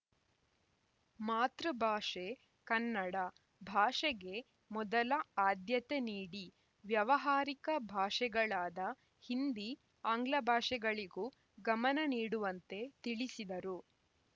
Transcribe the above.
ಮಾತೃಭಾಷೆ ಕನ್ನಡ ಭಾಷೆಗೆ ಮೊದಲ ಆದ್ಯತೆ ನೀಡಿ ವ್ಯಾವಹಾರಿಕ ಭಾಷೆಗಳಾದ ಹಿಂದಿ ಆಂಗ್ಲಭಾಷೆಗಳಿಗೂ ಗಮನ ನೀಡುವಂತೆ ತಿಳಿಸಿದರು